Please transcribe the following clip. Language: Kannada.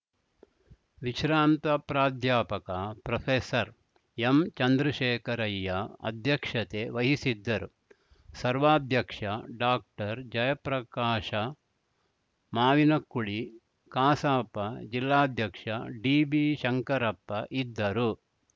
ವಿಶ್ರಾಂತ ಪ್ರಾಧ್ಯಾಪಕ ಪ್ರೊಫೆಸರ್ಎಂಚಂದ್ರಶೇಖರಯ್ಯ ಅಧ್ಯಕ್ಷತೆ ವಹಿಸಿದ್ದರು ಸರ್ವಾಧ್ಯಕ್ಷ ಡಾಕ್ಟರ್ಜಯಪ್ರಕಾಶ ಮಾವಿನಕುಳಿ ಕಸಾಪ ಜಿಲ್ಲಾಧ್ಯಕ್ಷ ಡಿಬಿಶಂಕರಪ್ಪ ಇದ್ದರು